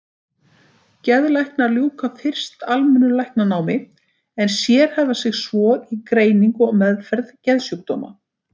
Geðlæknar ljúka fyrst almennu læknanámi en sérhæfa sig svo í greiningu og meðferð geðsjúkdóma.